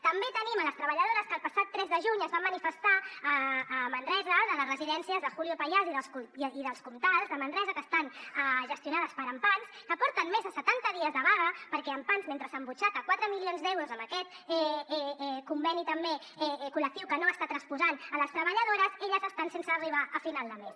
també tenim les treballadores que el passat tres de juny es van manifestar a manresa de les residències de julio payàs i d’els comtals de manresa que estan gestionades per ampans que porten més de setanta dies de vaga perquè ampans mentre s’embutxaca quatre milions d’euros amb aquest conveni també col·lectiu que no s’està transposant a les treballadores elles estan sense arribar a final de mes